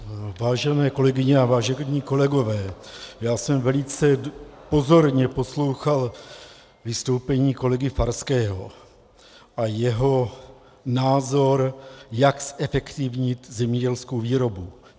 Vážené kolegyně a vážení kolegové, já jsem velice pozorně poslouchal vystoupení kolegy Farského a jeho názor, jak zefektivnit zemědělskou výrobu.